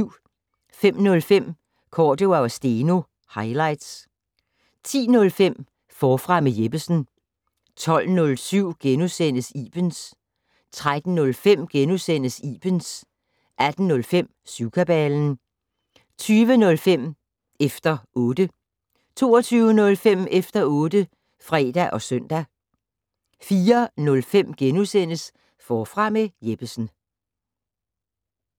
05:05: Cordua & Steno - highlights 10:05: Forfra med Jeppesen 12:07: Ibens * 13:05: Ibens * 18:05: Syvkabalen 20:05: Efter 0tte 22:05: Efter otte (fre og søn) 04:05: Forfra med Jeppesen *